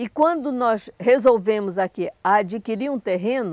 E quando nós resolvemos aqui adquirir um terreno,